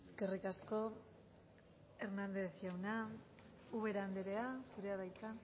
eskerrik asko hernández jauna ubera andrea zurea da hitza